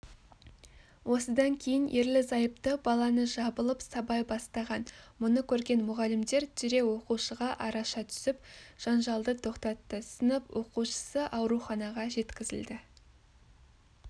осыдан кейін ерлі-зайыпты баланы жабылып сабай бастаған мұны көрген мұғалімдер дереу оқушыға араша түсіп жанжалды тоқтатты сынып оқушысы ауруханаға жеткізілді